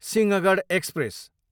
Sinhagad express